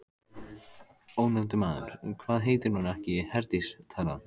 Ónefndur maður: Hvað heitir hún ekki Herdís, þarna?